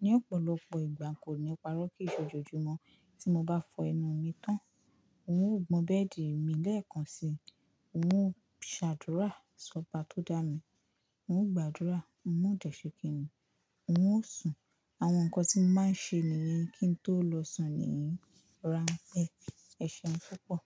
Ni ọ̀pọ̀lọpọ̀ ìgbà kò ní parọ́ kí ì se òjòojùmọ́. Tí mo bá fọ ẹnu mi tán, n ó gbọn bẹ́ẹ̀dì mi lẹ́ẹ̀kan si, n ó ṣàdúrà sọba tó dá mi, n ó gbàdúrà, n ó dẹ̀ ṣe kìni, n ó sùn. Àwọn nǹkan tí mo máa ń ṣe nìyẹn kí n tó lọ sùn ní ranpẹ. Ẹ ṣeun púpọ̀.